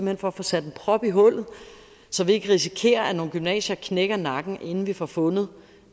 hen for at få sat en prop i hullet så vi ikke risikerer at nogle gymnasier knækker nakken inden vi får fundet